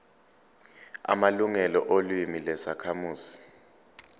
amalungelo olimi lwezakhamuzi